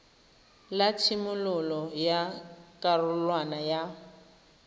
la tshimololo ya karolwana ya